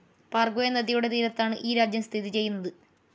പാർഗ്വെ നദിയുടെ തീരത്താണ് ഈ രാജ്യം സ്ഥിതി ചെയ്യുന്നത്.